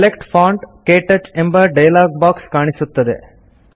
select font - ಕ್ಟಚ್ ಎಂಬ dialog box ಕಾಣಿಸುತ್ತದೆ